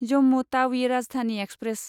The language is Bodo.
जम्मु टावि राजधानि एक्सप्रेस